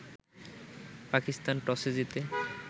পাকিস্তান টসে জিতে